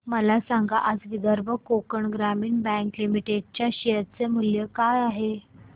मला सांगा आज विदर्भ कोकण ग्रामीण बँक लिमिटेड च्या शेअर चे मूल्य काय आहे